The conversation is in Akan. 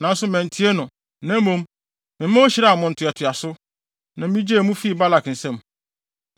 Nanso mantie no, na mmom mema ohyiraa mo ntoatoaso, na migyee mo fii Balak nsam.